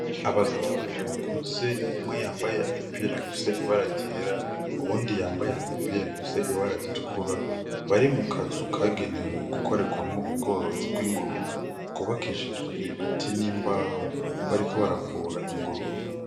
Abagabo babiri bakuze umwe yambaye agapira gafise ibara jera uwundi yambaye agapira gafise ibara ritkura bari mu kazu kagenewe gukorerwamwo ubworozi bw'ingurube kubakishijwe ibiti n'imbaho bariko baravura ingurube.